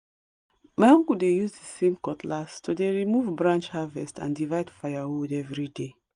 ma uncle dey use the same cutlass to de remove branch harvest and divide firewood every day